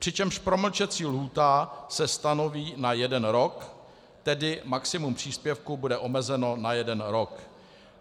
Přičemž promlčecí lhůta se stanoví na jeden rok, tedy maximum příspěvku bude omezeno na jeden rok.